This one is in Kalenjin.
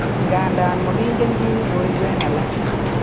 Nganda magingen kit ne koibu en alak